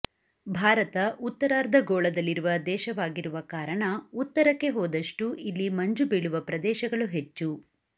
ಭಾರತ ಉತ್ತರಾರ್ಧ ಗೋಳದಲ್ಲಿರುವ ದೇಶವಾಗಿರುವ ಕಾರಣ ಉತ್ತರಕ್ಕೆ ಹೋದಷ್ಟೂ ಇಲ್ಲಿ ಮಂಜು ಬೀಳುವ ಪ್ರದೇಶಗಳು ಹೆಚ್ಚು